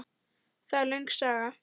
Það er löng saga.